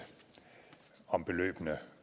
om beløbene